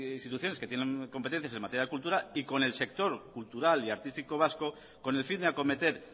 instituciones que tienen competencias en materia de cultura y con el sector cultural y artístico vasco con el fin de acometer